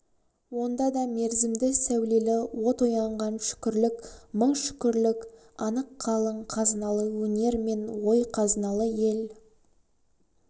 онда да мерзімді сәулелі от оянған шүкірлік мың шүкірлік анық қалың қазыналы өнер мен ой қазыналы ел